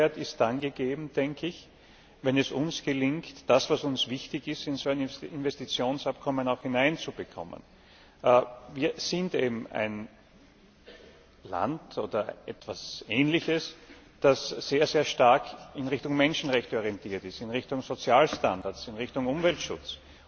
Der Mehrwert ist dann gegeben, denke ich, wenn es uns gelingt, das, was uns wichtig ist, in so ein Investitionsabkommen hineinzubekommen. Wir sind eben ein Land oder etwas Ähnliches, das sehr stark in Richtung Menschenrechte orientiert ist, in Richtung Sozialstandards, in Richtung Umweltschutz.